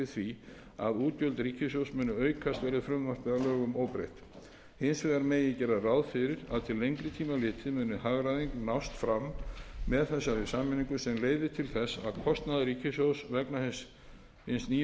því að útgjöld ríkissjóðs muni aukast verði frumvarpið að lögum óbreytt hins vegar megi gera ráð fyrir að til lengri tíma litið megi hagræðing nást fram með þessari sameiningu sem leiði til þess að kostnaður ríkissjóðs vegna hins nýja félags